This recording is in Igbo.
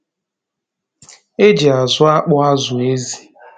E ji azụ́ akpụ azụ̀ ézi.